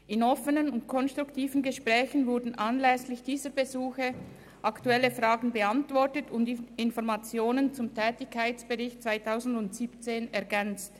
In offenen und konstruktiven Gesprächen wurden anlässlich dieser Besuche aktuelle Fragen beantwortet und Informationen zum Tätigkeitsbericht 2017 ergänzt.